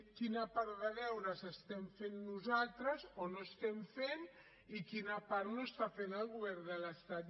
quina part de deures estem fent nosaltres o no estem fent i quina part no està fent el govern de l’estat